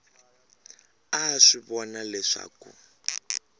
a a swi vona leswaku